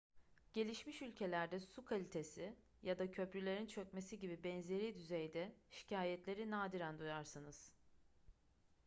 gelişmiş ülkelerde su kalitesi ya da köprülerin çökmesi gibi benzeri düzeyde şikayetleri nadiren duyarsınız